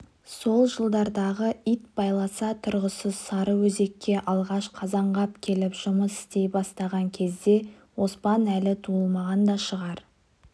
сол жылдардағы ит байласа тұрғысыз сарыөзекке алғаш қазанғап келіп жұмыс істей бастаған кезде оспан әлі туылмаған да шығар